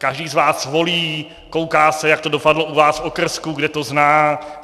Každý z vás volí, kouká se, jak to dopadlo u vás v okrsku, kde to zná.